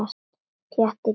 Pjatti gelti.